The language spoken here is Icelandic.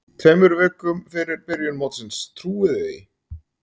Tveimur vikum fyrir byrjun mótsins, trúiði því?